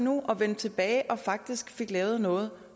nu og vendte tilbage og faktisk fik lavet noget